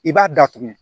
I b'a datugu